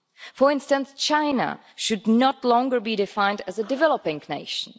For instance, China should no longer be defined as a developing nation.